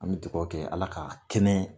An bɛ dugawu kɛ Ala ka kɛnɛ